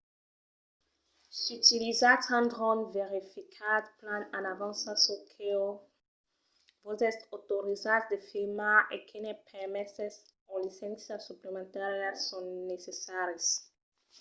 s'utilizatz un dròn verificatz plan en avança çò que vos es autorizat de filmar e quines permeses o licéncias suplementàrias son necessaris